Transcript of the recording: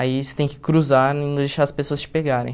Aí você tem que cruzar e não deixar as pessoas te pegarem.